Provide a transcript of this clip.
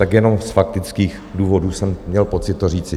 Tak jenom z faktických důvodů jsem měl pocit to říct.